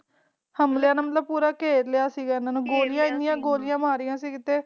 ਹਾਲੇ ਵਾਲਾ ਨੇ ਪੂਰਾ ਕਰ ਲਾਯਾ ਸੀ ਹਨ ਨੂੰ ਹਨ ਗੋਲਾ ਮਾਰਾ